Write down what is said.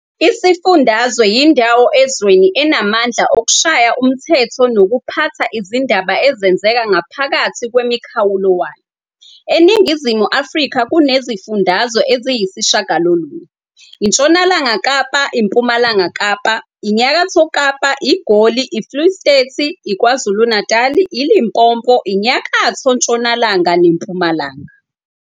Isifundazwe yindawo ezweni enamandla okushaya umthetho nokuphatha izindaba ezenzeka ngaphakathi kwemikhawulo wayo. ENingizimu Afrika kunezifundazwe eziyisishiyagalolunye- iNtshonalanga Kapa, iMpumalanga Kapa, iNyakatho Kapa, iGoli, iFuleystati, iKwazulu-Natali, iLimpopo, INyakatho-Ntshonalanga, neMpumalanga.